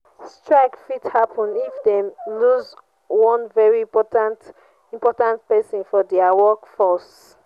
strike fit happen if dem loose one very important important persin for their workforce